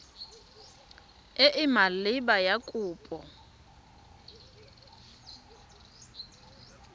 e e maleba ya kopo